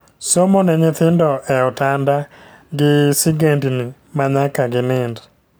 Somo ne nyithindo e otanda gi sigendni ma nyaka gi nind